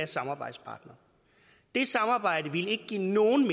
samarbejdspartnere det samarbejde ville ikke give nogen